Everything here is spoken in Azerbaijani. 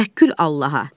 Təfəkkül Allaha.